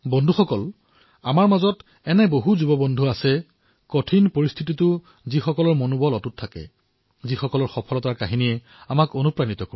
বন্ধুসকল এনেকুৱাই আৰু বহু যুৱ বন্ধু আছে যি কঠিন পৰিস্থিতিতো তেওঁলোকৰ উৎসাহ আৰু সফলতাৰ কাহিনীয়ে আমাক প্ৰেৰণা প্ৰদান কৰে